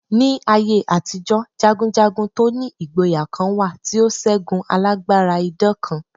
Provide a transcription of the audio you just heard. Ní aye àtijọ́, jagunjagun to ni ìgboyà kan wà tí ó ṣẹ́gun alágbára idán kan.